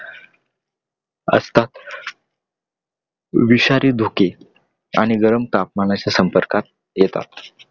असतात. विषारी धोके आणि गरम तापमानाच्या संपर्कात येतात.